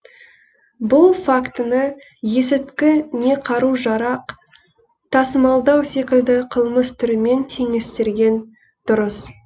бұл фактіні есірткі не қару жарақ тасымалдау секілді қылмыс түрімен теңестерген дұрыс